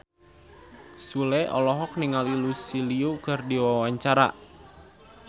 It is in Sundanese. Sule olohok ningali Lucy Liu keur diwawancara